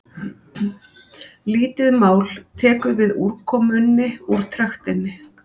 lítið mál tekur við úrkomunni úr trektinni